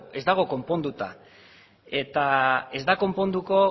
ez dago konponduta eta ez da konponduko